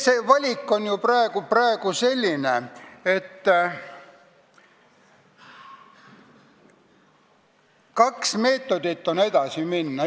Meie valik on ju praegu selline, et meil on kaks meetodit, kuidas edasi minna.